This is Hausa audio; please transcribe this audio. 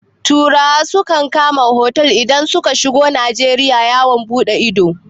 Turawa sukan kama otal idan suka shigo Najeriya yawon buɗe ido.